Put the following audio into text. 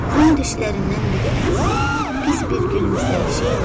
Ön dişlərindən biri əksik, pis bir gülümsəyişi ilə.